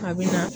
A bɛ na